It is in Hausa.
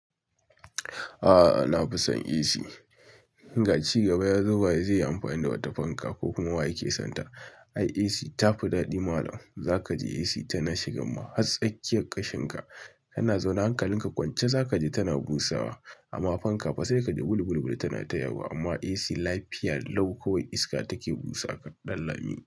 A'a, na fi son AC. Ga ci gaba ya zo, ba zai yi amfani da wata fanka ba ko kuma wa yake son ta. Ai AC tafi daɗi malam, za ka ji AC tana shiga ma hatsakiyar ƙashin ka, kana zaune hankalin ka kwance za ka ji tana busawa. Amma fanka fa sai ka ji bul bul bul tana tayawa. Amma AC lafiya lau, kawai iska take busa kaɗan lami.